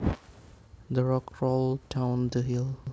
The rock rolled down the hill